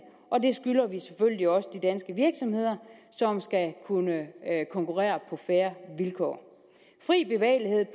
og det skylder vi selvfølgelig også de danske virksomheder som skal kunne konkurrere på fair vilkår fri bevægelighed